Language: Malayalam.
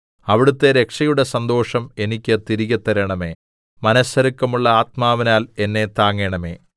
അവിടുത്തെ രക്ഷയുടെ സന്തോഷം എനിക്ക് തിരികെ തരണമേ മനസ്സൊരുക്കമുള്ള ആത്മാവിനാൽ എന്നെ താങ്ങണമേ